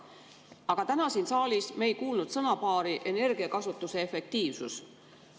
Aga täna siin saalis me ei ole kuulnud sõnapaari "energiakasutuse efektiivsus".